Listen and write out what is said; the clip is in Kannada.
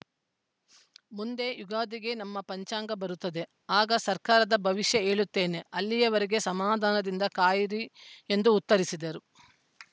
ಮುಂದೆ ಯುಗಾದಿಗೆ ನಮ್ಮ ಪಂಚಾಂಗ ಬರುತ್ತದೆ ಆಗ ಸರ್ಕಾರದ ಭವಿಷ್ಯ ಹೇಳುತ್ತೇನೆ ಅಲ್ಲಿಯವರೆಗೆ ಸಮಾಧಾನದಿಂದ ಕಾಯಿರಿ ಎಂದು ಉತ್ತರಿಸಿದರು